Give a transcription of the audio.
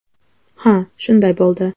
Ha, shunday bo‘ldi.